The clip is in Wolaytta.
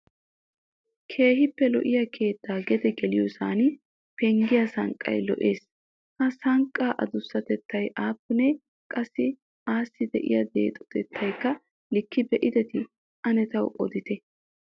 Keehippe lo"iya keetta gede geliyoossan penggiya sanqqay lo"ees. Ha sanqqaa addussatettay aappune? Qassi assi de'iyaa deexotettakka lika be"adi? Ane taw odute?